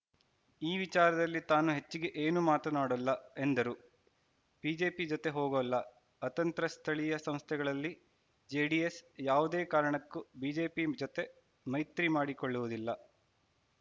ಈ ವಿಚಾರದಲ್ಲಿ ತಾನು ಹೆಚ್ಚಿಗೆ ಏನು ಮಾತನಾಡೊಲ್ಲ ಎಂದರು ಬಿಜೆಪಿ ಜೊತೆ ಹೋಗೊಲ್ಲಅತಂತ್ರ ಸ್ಥಳೀಯ ಸಂಸ್ಥೆಗಳಲ್ಲಿ ಜೆಡಿಎಸ್‌ ಯಾವುದೇ ಕಾರಣಕ್ಕೂ ಬಿಜೆಪಿ ಜೊತೆ ಮೈತ್ರಿ ಮಾಡಿಕೊಳ್ಳುವುದಿಲ್ಲ